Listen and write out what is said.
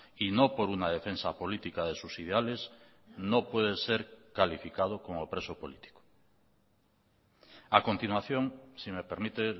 y no por una defensa política de sus ideales no puede ser calificado como preso político a continuación si me permite